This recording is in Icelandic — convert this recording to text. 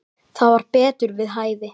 Það var betur við hæfi.